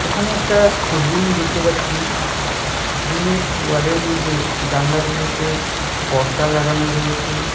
এখানে একটা রুম দেখতে পাচ্ছি রুমের ওয়ালের মধ্যে জানলাগুলোতে পর্দা লাগানো রয়েছে।